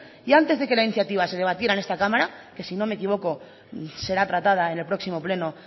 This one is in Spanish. y antes de que la iniciativa se debatiera en esta cámara que si no me equivoco será tratada en el próximo pleno